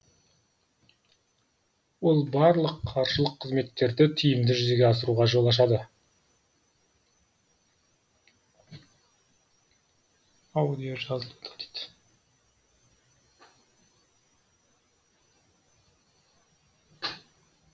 ол барлық қаржылық қызметтерді тиімді жүзеге асыруға жол ашады